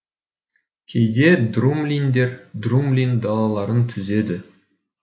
кейде друмлиндер друмлин далаларын түзеді